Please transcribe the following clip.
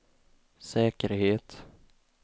säkerhet